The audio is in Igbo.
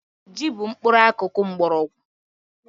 Ji bụ mkpụrụakụkụ mkpọrọgwụ